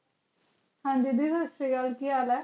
ਹਨ ਜੀ ਦੀਦੀ ਸਟਸਰੀਆਕਾਲ ਕਿ ਹਾਲ ਆਈ ਜੀ